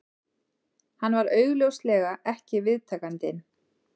Hann var augljóslega ekki viðtakandinn